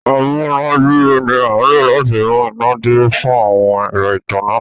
amunaduro ni a lò láti mú iná dúró fun àwọn ẹrọ ìtanná.